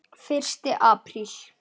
Fyrsti apríl.